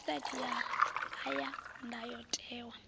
website ya a ya ndayotewa